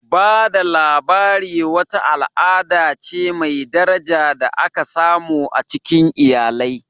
Ba da labari wata al'ada ce mai daraja da aka samu a cikin iyalai.